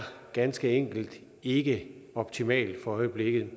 ganske enkelt ikke optimal for øjeblikket